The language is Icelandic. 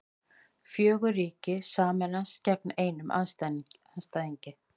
Fjögur ríki sameinast gegn einum andstæðingi